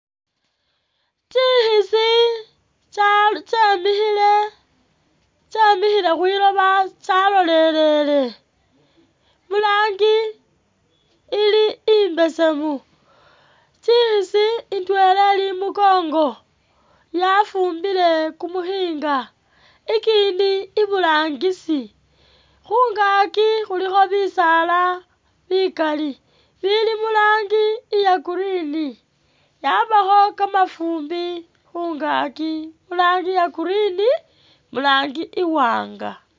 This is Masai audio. Tsikhisi tsya tsyemikhile tsyemikhile khwiloba tsyalolelele, murangi ili imbesemu, tsikhisi indwela ili imukongo yafumbile kumukhinga, ikindi iburangisi, khungaaki khulikho bisaala bikali bili murangi iye green, yabakho kamafumbi khungaaki murangi iya green murangi iwaanga.